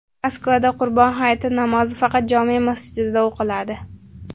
Moskvada Qurbon hayiti namozi faqat jome masjidida o‘qiladi.